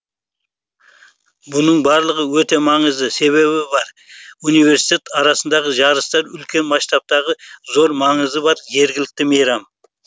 бұның барлығы өте маңызды себебі бар университет арасындағы жарыстар үлкен масштабтағы зор маңызы бар жергілікті мейрам